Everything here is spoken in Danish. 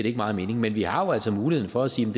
ikke meget mening men vi har jo altså muligheden for at sige